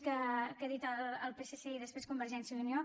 jhan dit el psc i després convergència i unió